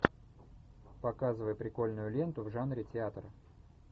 показывай прикольную ленту в жанре театр